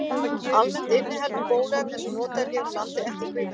Almennt inniheldur bóluefni sem notað er hér á landi ekki kvikasilfur.